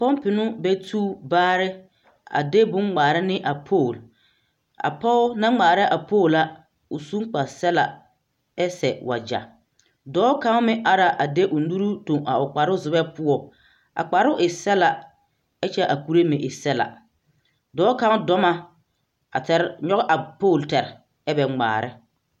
Pɔmpeŋ no bɛ tu baare a de bone ŋmaara ne a poole a pɔge naŋ ŋmaara a poole la o suŋ kparsɛglaa ɛ seɛ wagya dɔɔ kaŋa meŋ ara de o nuru toŋ a o kparozegɛ poɔ a kparoo e sɛglaa ɛ kyɛ a kuree meŋ e sɛglaa dɔɔ kaŋa dɔɔ na a tɛre nyɔge a poole tɛre ɛ kyɛ be ŋmaarɛ.